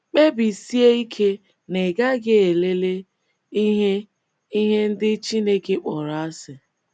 Kpebisie ike na ị gaghị elele um ihe um ihe ndị um Chineke kpọrọ um asị.